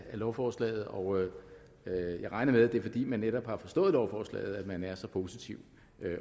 af lovforslaget og jeg regner med at det er fordi netop man har forstået lovforslaget at man er så positiv